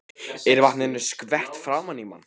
Er vatninu skvett framan í mann.